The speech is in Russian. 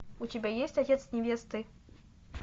у тебя есть отец невесты